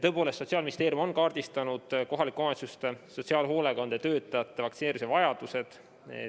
Tõepoolest, Sotsiaalministeerium on kaardistanud kohalike omavalitsuste sotsiaalhoolekandetöötajate vaktsineerimise vajaduse.